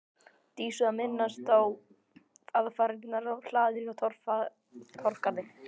Dísu að minnast á aðfarirnar á hlaðinu í Torfgarði.